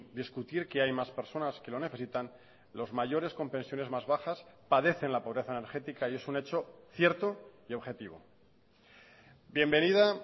discutir que hay más personas que lo necesitan los mayores con pensiones más bajas padecen la pobreza energética y es un hecho cierto y objetivo bienvenida